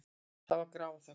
Það var grafarþögn.